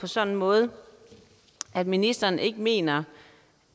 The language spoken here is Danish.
sådan måde at ministeren ikke mener